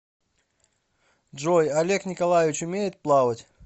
джой олег николаевич умеет плавать